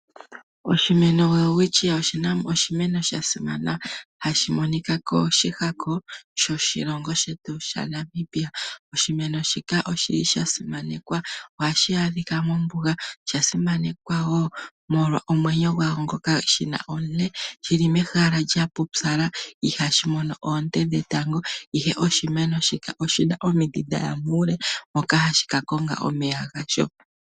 Oshimeno Welwitchia oshimeno sha simana hashi monika koshihako shoshilongo shetu shaNamibia. Oshimeno shika oshili sha simanekwa, ohashi adhikwa mombuga, osha simanekwa wo omolwa omwenyo gwasho ngoka shi na omule shi li mehala lya pupyala ihashi mono oonte dhetango ashike oshimeno shika oshi na omidhi dhaya muule moka hashi ka konga omeya gasho.